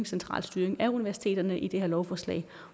central styring af universiteterne i det her lovforslag